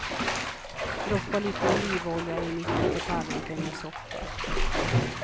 Droppa lite olivolja i mitten på tallriken med soppa.